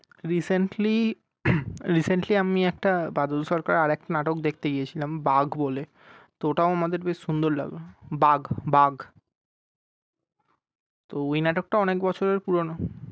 Recently recently আমি একটা বাদল সরকার আর একটা নাটক দেখতে গিয়ে ছিলাম বাঘ বলে তো ওটাও আমাদের বেশ সুন্দর লাগল বাঘ বাঘ। তো ওই নাটকটাও অনেক বছরের পুরোনো।